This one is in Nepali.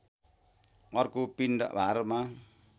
अर्को पिण्ड भारमा